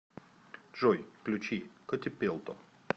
джой включи котипелто